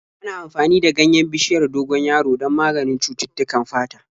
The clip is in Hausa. Ana amfani da ganyen bishiyar dogon yaro don maganin cututtukan fata.